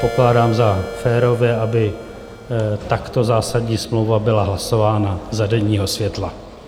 Pokládám za férové, aby takto zásadní smlouva byla hlasována za denního světla.